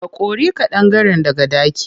Ka kori ƙadangaren daga ɗaki.